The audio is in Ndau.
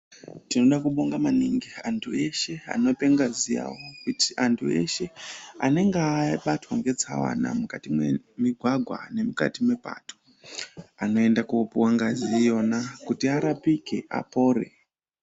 Tinoda kubonga maningi ntu eshe anope ngazi yawo kuti antu eshe anenge abatwa ngetsaona mukati memigwagwa nemukati mepato anoenda kupuwa ngazi iyona kuti arapike apore.